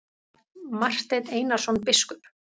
Marteinn Einarsson biskup!